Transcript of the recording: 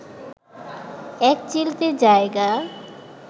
এক চিলতে জায়গা